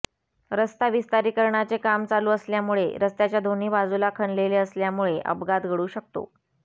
रस्ता विस्तारीकरणाचे काम चालू असल्यामुळे रस्त्याच्या दोन्ही बाजूला खणलेले असल्यामुळे अपघात घडु शकतो